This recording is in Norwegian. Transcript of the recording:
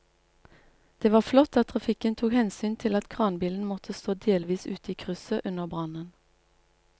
Det var flott at trafikken tok hensyn til at kranbilen måtte stå delvis ute i krysset under brannen.